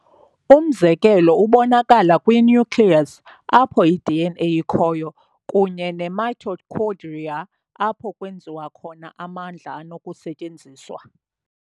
Umzekelo ubonakala kwi-nucleus, apho i-DNA ikhoyo, kunye ne-mitochondria, apho kwenziwa khona amandla anokusetyenziswa.